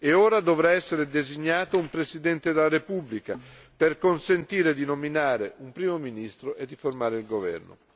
Ora dovrà essere designato un Presidente della Repubblica, per consentire di nominare un Primo ministro e di formare il governo.